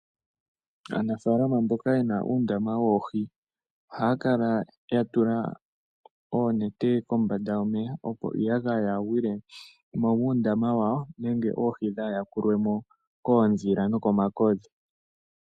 Aanafaalama mboka ye na uundama woohi, oha ya kala ya tula oonete kombada yomeya opo iiyagaya yaagwile mo muundama wawo nenge oohi dhaayakulwe mo koondhila noko makokodhi.